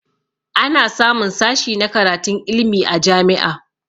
Ana samun sashi na karatun ilmi a jami'a